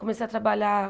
Comecei a trabalhar